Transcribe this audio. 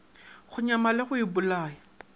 go nyama le go ipolaya